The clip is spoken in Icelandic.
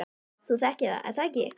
Þú þekkir það er það ekki?